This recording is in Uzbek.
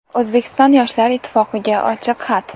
O‘zbekiston Yoshlar ittifoqiga ochiq xat.